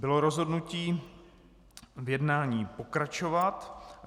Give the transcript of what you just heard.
Bylo rozhodnuto v jednání pokračovat.